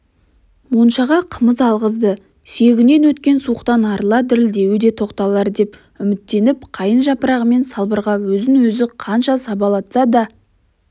моншаға қымыз алғызды сүйегінен өткен суықтан арылса дірілдеуі де тоқталар деп үміттеніп қайын жапырағымен салбырға өзін өзі қанша сабалатса да